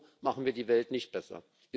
So machen wir die Welt nicht besser.